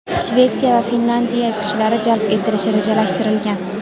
Shvetsiya va Finlyandiya kuchlari jalb etilishi rejalashtirilgan.